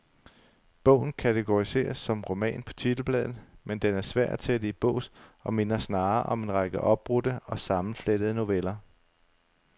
Bogen kategoriseres som roman på titelbladet, men den er svær at sætte i bås og minder snarere om en række opbrudte og sammenflettede noveller.